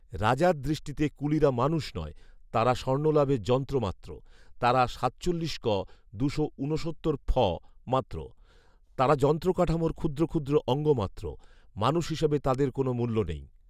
রাজার দৃষ্টিতে কুলিরা মানুষ নয়। তাঁরা স্বর্ণলাভের যন্ত্রমাত্র, তারা সাতচল্লিশ ক, দুশো উনসত্তর ফ মাত্র। তাঁরা যন্ত্র কাঠামোর ক্ষুদ্র ক্ষুদ্র অঙ্গ মাত্র। মানুষ হিসেবে তাদের কোনো মূল্য নেই